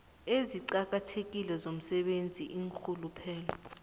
eziqakathekile zomsebenzi iinrhuluphelo